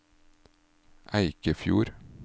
Eikefjord